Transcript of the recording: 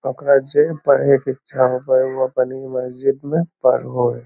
ओकरा जे पढ़े के इच्छा होवय हय उ अपन इ मस्जिद में पढ़ो हय।